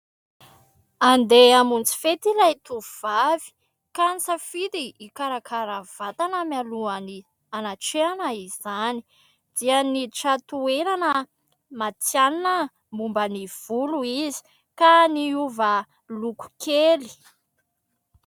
Andeha hamonjy fety ilay tovovavy ka nisafidy hikarakara vatana mialoha ny hanatrehana izany dia niditra toerana matihanina momba ny volo izy ka niova loko kely.